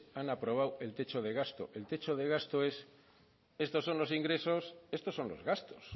han aprobado el techo de gasto el techo de gasto es estos son los ingresos estos son los gastos